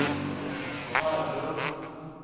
farbror